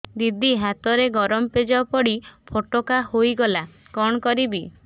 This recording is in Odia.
ଦିଦି ହାତରେ ଗରମ ପେଜ ପଡି ଫୋଟକା ହୋଇଗଲା କଣ କରିବି